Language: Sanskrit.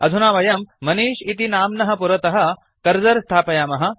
अधुना वयं मनिष् इति नाम्नः पुरतः कर्सर् स्थापयामः